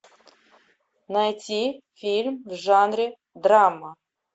найти фильм в жанре драма